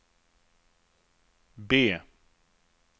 B